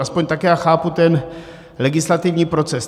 Aspoň tak já chápu ten legislativní proces.